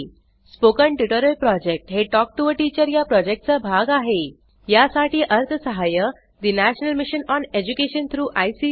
spoken tutorial project हे talk to teacher या प्रॉजेक्टचा भाग आहेयासाठी अर्थसहाय्य national mission on education through I